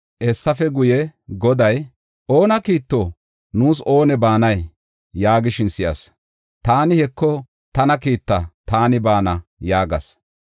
Hessafe guye Goday, “Oona kiitto? Nuus oone baanay?” yaagishin si7as. Taani, “Heko, tana kiitta, taani baana” yaagas.